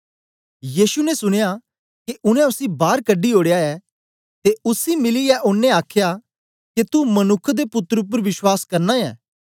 यीशु ने सुनया के उनै उसी बार कढी ओड़या ऐ ते उसी मिलयै ओनें आखया के तू मनुक्ख दे पुत्तर उपर विश्वास करना ऐ